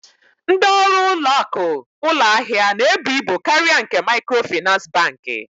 Ndị ọrụ ụlọakụ ụlọahịa na-ebu ibu karịa nke Maịkrofịnansị Bankị.